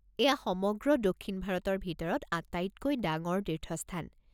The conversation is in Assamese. এয়া সমগ্ৰ দক্ষিণ ভাৰতৰ ভিতৰত আটাইতকৈ ডাঙৰ তীৰ্থস্থান।